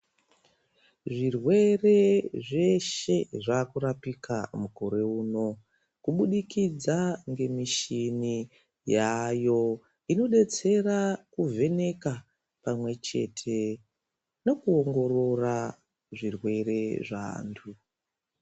Zvirwere zveshe zvaku rapika mukore uno kubudikidza ne mushini yayo inodetsera ku vheneka pamwe chete nekuongorora zvirwere zve antu.